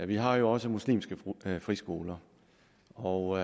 vi har jo også muslimske friskoler og